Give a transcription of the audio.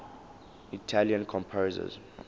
italian composers